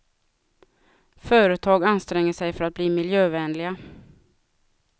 Företag anstränger sig för att bli miljövänliga.